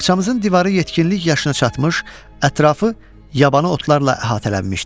Baxçamızın divarı yetkinlik yaşına çatmış, ətrafı yabanı otlarla əhatələnmişdi.